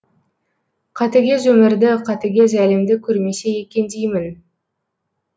қатыгез өмірді қатыгез әлемді көрмесе екен деймін